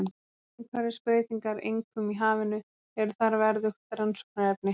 Umhverfisbreytingar, einkum í hafinu, eru þar verðugt rannsóknarefni.